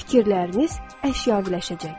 Fikirləriniz əşyavələşəcəkdir.